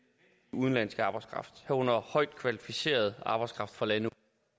udenlandsk arbejdskraft herunder højt kvalificeret arbejdskraft fra lande